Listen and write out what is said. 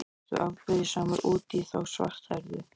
Ertu afbrýðisamur út í þá svarthærðu?